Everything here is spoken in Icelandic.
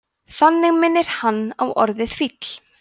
þannig minnir hann á orðið fíll